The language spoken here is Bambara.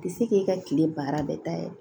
Tɛ se k'i ka kile baara bɛɛ ta yɛrɛ